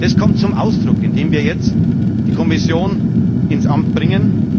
Das kommt zum Ausdruck, indem wir jetzt die Kommission ins Amt bringen.